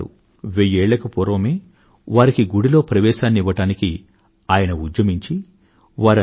వెయ్యేళ్లకు పూర్వమే వారికి గుడిలో ప్రవేశాన్ని ఇవ్వడానికి ఆయన ఉద్యమించి వారందరికీ గుడిలోకి ప్రవేశానికి అనుమతి సంపాదించారు